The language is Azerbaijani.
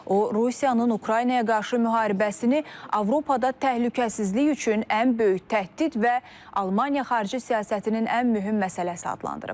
O, Rusiyanın Ukraynaya qarşı müharibəsini Avropada təhlükəsizlik üçün ən böyük təhdid və Almaniya xarici siyasətinin ən mühüm məsələsi adlandırıb.